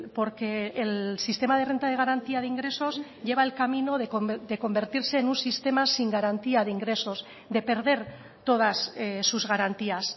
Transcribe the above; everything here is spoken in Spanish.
porque el sistema de renta de garantía de ingresos lleva el camino de convertirse en un sistema sin garantía de ingresos de perder todas sus garantías